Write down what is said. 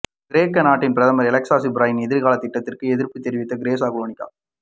கிரேக்க நாட்டின் பிரதமர் எலெக்ஸ் சிப்ராஸின் எதிர்கால திட்டத்திற்கு எதிர்ப்புத் தெரிவித்து தெஸ்ஸலோனிக